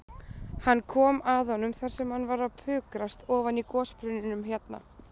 Hann kom að honum þar sem hann var að pukrast ofan í gosbrunninum hérna.